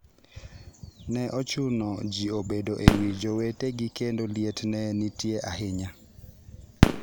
Ne ochuno ji obedo e wi jowetegi kendo liet ne nitie ahinya.